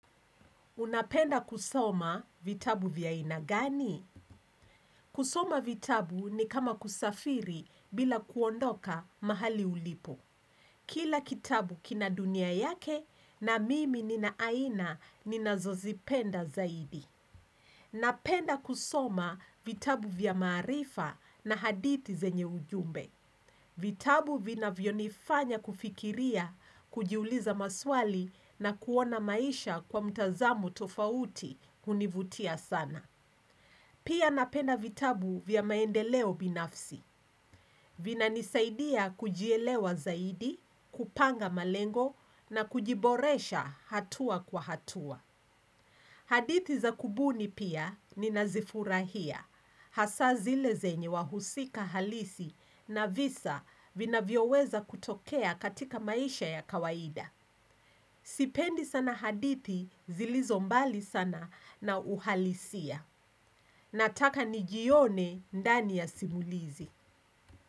Unapenda kusoma vitabu vya ina gani? Kusoma vitabu ni kama kusafiri bila kuondoka mahali ulipo. Kila kitabu kina dunia yake na mimi nina aina nina zozipenda zaidi. Napenda kusoma vitabu vya marifa na haditi zenye ujumbe. Vitabu vina vionifanya kufikiria, kujiuliza maswali na kuona maisha kwa mtazamo tofauti univutia sana. Pia napena vitabu vya maendeleo binafsi. Vina nisaidia kujielewa zaidi, kupanga malengo na kujiboresha hatua kwa hatua. Hadithi za kubuni pia ni nazifurahia. Hasa zile zenye wahusika halisi na visa vina vioweza kutokea katika maisha ya kawaida. Sipendi sana hadithi, zilizombali sana na uhalisia. Nataka nijione ndani ya simulizi.